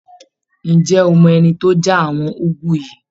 Ǹjẹ́ o mọ ẹni tó já àwọn úgú yìí?